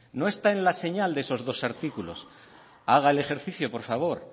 no está en la señal de esos dos artículos haga el ejercicio por favor